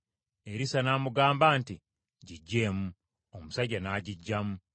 Erisa n’amugamba nti, “Giggyeemu.” Omusajja n’agiggyamu.